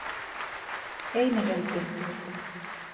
Einilundi